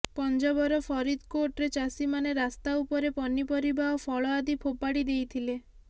ପଞ୍ଜାବର ଫରିଦକୋଟ୍ରେ ଚାଷୀମାନେ ରାସ୍ତା ଉପରେ ପନିପରିବା ଓ ଫଳ ଆଦି ଫୋପାଡ଼ି ଦେଇଥିଲେ